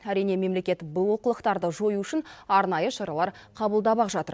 әрине мемлекет бұл олқылықтарды жою үшін арнайы шаралар қабылдап ақ жатыр